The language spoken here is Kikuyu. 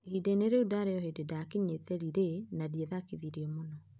"Ihinda-inĩ rĩu ndaarĩ o hĩndĩ ndaakinyĩte Lilly na ndiathakithirio mũno.